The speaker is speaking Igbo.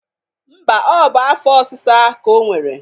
Mba, o bụ afọ osisa ka o nwere.